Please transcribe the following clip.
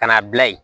Ka n'a bila yen